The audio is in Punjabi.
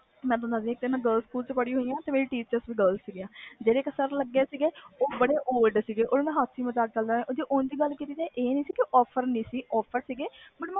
ਮੈਂ girls ਸਕੂਲ ਪੜ੍ਹੀ ਹੋਈ ਆ ਮੇਰੀ teacher ਵੀ girls ਸੀ ਜਿਹੜੇ ਇਕ sir ਸੀ ਉਹ ਬੜੇ old age ਸੀ ਜੇ ਗੱਲ ਕੀਤੀ ਜਾਵੇ offer ਦੀ ਤੇ offer ਸੀ